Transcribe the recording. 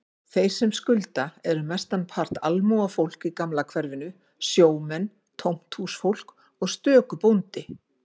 Þeir sem skulda eru mestanpart almúgafólk í gamla hverfinu, sjómenn, tómthúsfólk og stöku bóndi.